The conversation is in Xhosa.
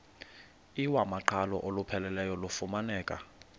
iwamaqhalo olupheleleyo lufumaneka